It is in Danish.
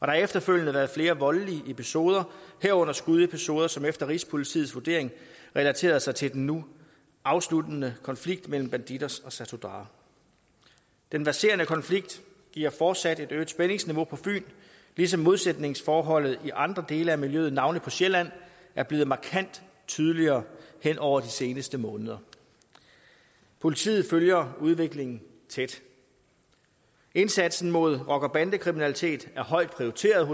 har efterfølgende været flere voldelige episoder herunder skudepisoder som efter rigspolitiets vurdering relaterede sig til den nu afsluttede konflikt mellem bandidos og satudarah den verserende konflikt giver fortsat et øget spændingsniveau på fyn ligesom modsætningsforholdet i andre dele af miljøet navnlig på sjælland er blevet markant tydeligere hen over de seneste måneder politiet følger udviklingen tæt indsatsen mod rocker og bandekriminalitet er højt prioriteret